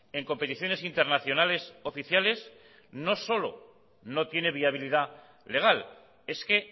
en competiciones internacionales oficiales no solo no tiene viabilidad legal es que